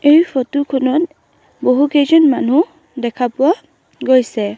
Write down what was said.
এই ফটো খনত বহুকেইজন মানু্হ দেখা পোৱা গৈছে।